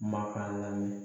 Maka lamini